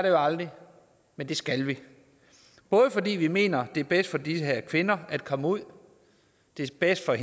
jo aldrig men det skal vi både fordi vi mener det er bedst for de her kvinder at komme ud og det er bedst for